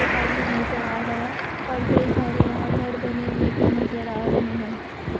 एक आदमी नजर आ रहा है और कई सारे यहां घर बने हुए भी नजर आ रहे हैं ।